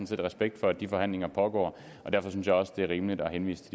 set respekt for at de forhandlinger pågår og derfor synes jeg også det er rimeligt at henvise